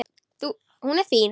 Hún er fín, sko.